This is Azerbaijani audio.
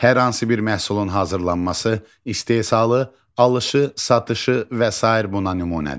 Hər hansı bir məhsulun hazırlanması, istehsalı, alışı, satışı və sair buna nümunədir.